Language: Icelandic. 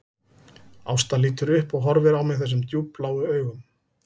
Ásta lítur upp og horfir á mig þessum djúpbláu augum